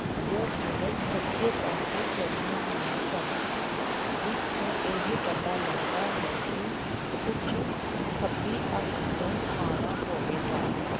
ਜੋ ਕੇਵਲ ਸੱਜੇ ਪਾਸੋਂ ਚਰੀਆਂ ਹੋਈਆਂ ਸਨ ਜਿਸ ਤੋਂ ਇਹ ਪਤਾ ਲੱਗਦਾ ਹੈ ਕਿ ਊਠ ਖੱਬੀ ਅੱਖ ਤੋਂ ਕਾਣਾ ਹੋਵੇਗਾ।